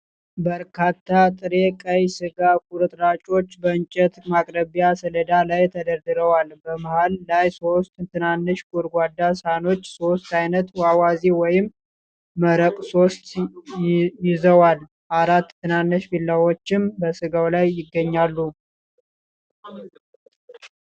በርካታ ጥሬ ቀይ ሥጋ ቁርጥራጮች በእንጨት ማቅረቢያ ሰሌዳ ላይ ተደርድረዋል። በመሃል ላይ ሶስት ትናንሽ ጎድጓዳ ሳህኖች ሶስት አይነት አዋዜ ወይም መረቅ (ሶስ) ይዘዋል። አራት ትናንሽ ቢላዋዎችም በስጋው ላይ ይገኛሉ።